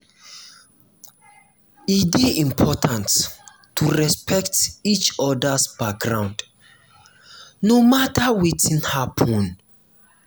e dey important to respect each other’s background no matter wetin happen.